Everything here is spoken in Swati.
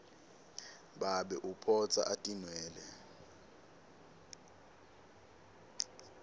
babe uphotsa atinwele